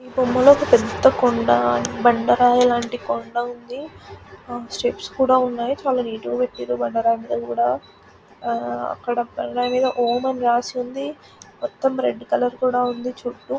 ఈ బొమ్మ లో పెద్ద కొండా బండ రాయి లాంట కొండా ఉంది స్టెప్స్ కూడా ఉన్నాయి చాలా నీట్ గా పెట్టిండు రాసుకోండి మొత్తం రెడ్ కలర్ లో ఉంది